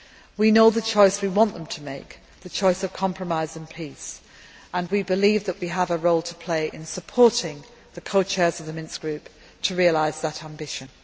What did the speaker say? We know the choice we want them to make the choice of compromise and peace. We believe that we have a role to play in supporting the co chairs of the Minsk Group to realise that ambition.